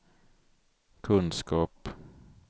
kunskap